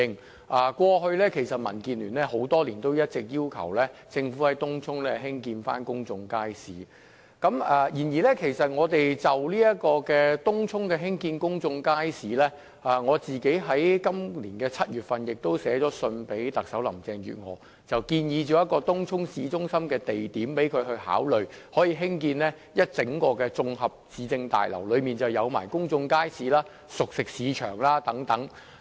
其實，過去多年來，民建聯一直要求政府在東涌興建公眾街市，而就於東涌興建公眾街市一事，我在今年7月曾致函特首林鄭月娥，建議一個東涌市中心的地點可供興建一座綜合市政大樓，包括公眾街市及熟食市場等。